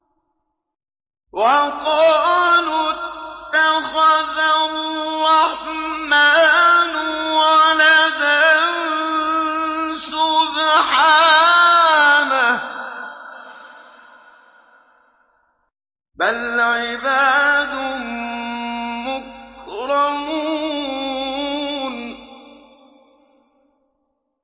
وَقَالُوا اتَّخَذَ الرَّحْمَٰنُ وَلَدًا ۗ سُبْحَانَهُ ۚ بَلْ عِبَادٌ مُّكْرَمُونَ